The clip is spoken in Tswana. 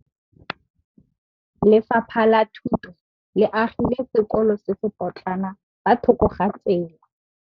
Lefapha la Thuto le agile sekôlô se se pôtlana fa thoko ga tsela.